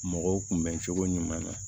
Mɔgɔw kun bɛn cogo ɲuman na